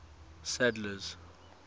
sadler's